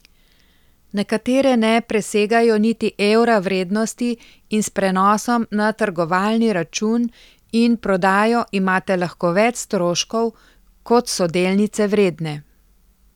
Nekatere ne presegajo niti evra vrednosti in s prenosom na trgovalni račun in prodajo imate lahko več stroškov, kot so delnice vredne.